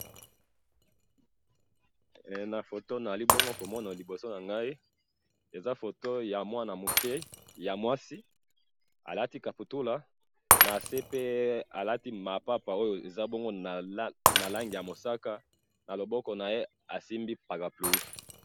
Eh! Na foto nazali bongo komona liboso nangayi, eza foto yamwana muke, yamwasi alati kaputula nasepe aza namapapa oyo eza bongo nalangi yamusaka, naloboko naye asimbi parapluie.